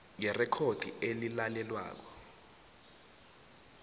yerekhodi elilalelwako